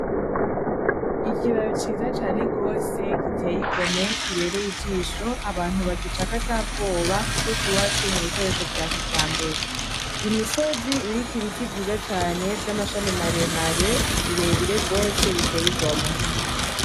Ikiraro ciza cane gose giteye igomwe kibereye ijisho, abantu bagicako atabwoba kuko cubatswe mu bikoresho vya kijambere. Imisozi iriko ibiti vyiza cane vy'amashami mare mare bire bire gose biteye igomwe.